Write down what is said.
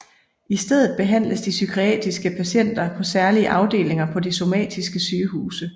I stedet behandles de psykiatriske patienter på særlige afdelinger på de somatiske sygehuse